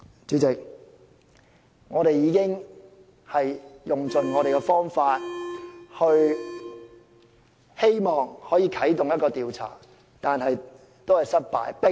"主席，我們已用盡方法希望啟動調查，但都失敗。